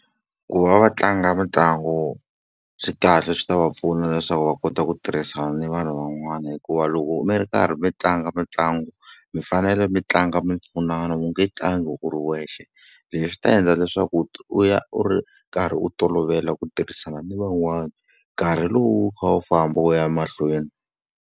Ku va va tlanga mitlangu swi kahle swi ta va pfuna leswaku va kota ku tirhisana ni vanhu van'wana hikuva loko mi ri karhi mi tlanga mitlangu, mi fanele mi tlanga mi pfunana u nge tlangi u ri wexe. Leswi ta endla leswaku u ya u ri karhi u tolovela ku tirhisana ni van'wana, nkarhi lowu wu kha wu famba wu ya mahlweni.